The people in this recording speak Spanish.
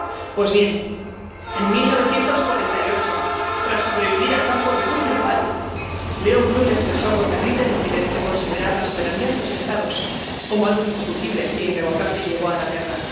Pues bien, en 1948, tras sobrevivir al campo de Buchenwald, Léon Blum expresó con terrible lucidez que considerar la soberanía de los Estados como algo indiscutible e irrevocable llevó a la guerra